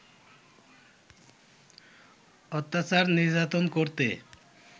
অত্যাচার নির্যাতন করতে